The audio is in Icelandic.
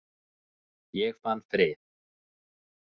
Ég fann frið.